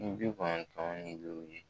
Ni bi kɔnɔntɔn ni loru ye